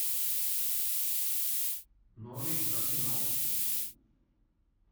норвич арсенал